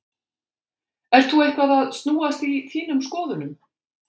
Ert þú eitthvað að snúast í þínum skoðunum?